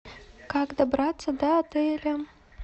как добраться до отеля